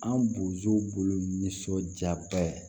An bozow bolo nisɔndiyaba ye